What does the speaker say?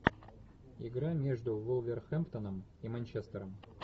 игра между вулверхэмптоном и манчестером